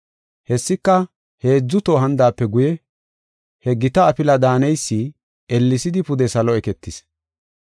Hessika, heedzu toho hanidaape guye he gita afila daaneysi ellesidi pude salo eketis.